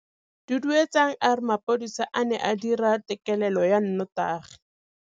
Duduetsang a re mapodisa a ne a dira têkêlêlô ya nnotagi.